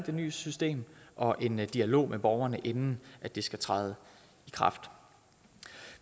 det nye system og en dialog med borgerne inden det skal træde i kraft